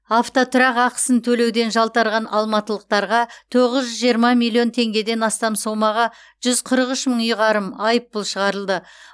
автотұрақ ақысын төлеуден жалтарған алматылықтарға тоғыз жүз жиырма миллион теңгеден астам сомаға жүз қырық үш мың ұйғарым айыппұл шығарылды